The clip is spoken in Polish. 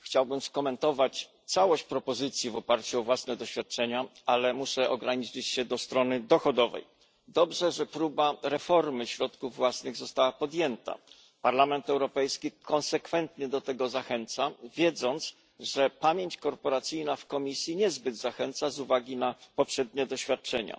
Chciałbym skomentować całość propozycji w oparciu o własne doświadczenia, ale muszę ograniczyć się do kwestii dochodowej. Dobrze, że próba reformy środków własnych została podjęta. Parlament Europejski konsekwentnie do tego zachęca, wiedząc, że pamięć korporacyjna w Komisji niezbyt zachęca z uwagi na poprzednie doświadczenia.